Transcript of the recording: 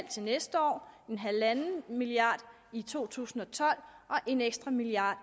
til næste år en milliard i to tusind og tolv og en ekstra milliard